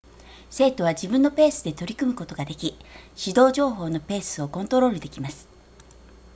生徒は自分のペースで取り組むことができ指導情報のペースをコントロールできます